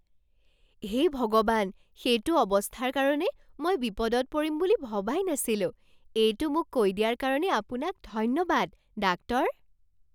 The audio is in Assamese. হে ভগৱান! সেইটো অৱস্থাৰ কাৰণে মই বিপদত পৰিম বুলি ভবাই নাছিলোঁ। এইটো মোক কৈ দিয়াৰ কাৰণে আপোনাক ধন্যবাদ, ডাক্তৰ।